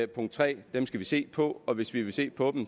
punkt 3 dem skal vi se på og hvis vi vil se på